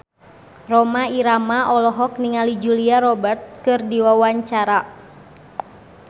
Rhoma Irama olohok ningali Julia Robert keur diwawancara